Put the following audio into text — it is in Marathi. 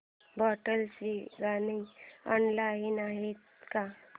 भोंडला ची गाणी ऑनलाइन आहेत का